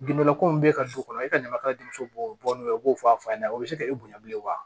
Gindo ko in bɛ ka du kɔnɔ e ka ɲamakaladen muso b'o bɔ o b'o fɔ a fa ɲɛna o bɛ se ka e bonya bilen wa